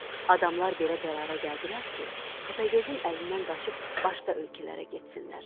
Adamlar belə qərara gəldilər ki, Təpəgözün əlindən qaçıb başqa ölkələrə getsinlər.